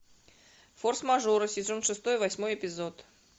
форс мажоры сезон шестой восьмой эпизод